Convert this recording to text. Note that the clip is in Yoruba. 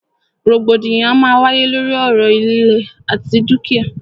Rògbòdìyàn a máa wáyé lóri ọ̀rọ̀ ìlẹ̀ àti dúkìá.